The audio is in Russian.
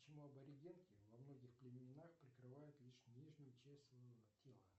почему аборигенки во многих племенах прикрывают лишь нижнюю часть своего тела